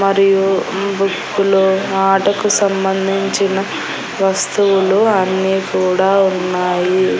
మరియు బుక్ లో ఆటకు సంబంధించిన వస్తువులు అన్నీ కూడా ఉన్నాయి.